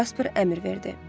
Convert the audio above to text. Casper əmr verdi.